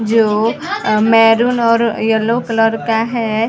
जो मैरून और yellow colour का हैं ।